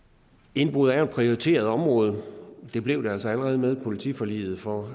indbrud er et prioriteret område det blev det altså allerede med politiforliget for